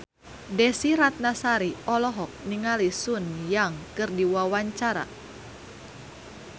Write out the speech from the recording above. Desy Ratnasari olohok ningali Sun Yang keur diwawancara